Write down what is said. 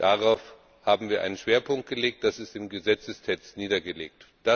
Darauf haben wir einen Schwerpunkt gelegt, das ist im Gesetzestext niedergelegt.